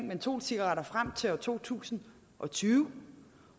mentolcigaretter frem til to tusind og tyve